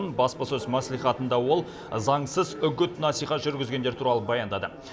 баспасөз мәслихатында ол заңсыз үгіт насихат жүргізгендер туралы баяндады